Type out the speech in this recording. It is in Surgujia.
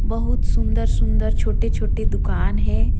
बहुत सुन्दर-सुन्दर छोटे-छोटे दुकान हे।